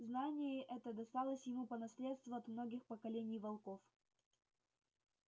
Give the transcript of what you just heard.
знание это досталось ему по наследству от многих поколений волков